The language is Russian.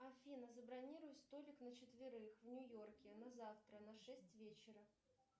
афина забронируй столик на четверых в нью йорке на завтра на шесть вечера